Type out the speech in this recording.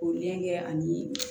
K'o ɲɛ kɛ ani